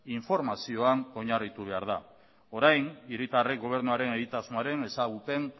informazioan oinarritu behar da orain hiritarrek gobernuaren egitasmoaren ezagupen